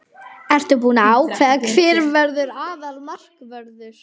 Ertu búinn að ákveða hver verður aðalmarkvörður?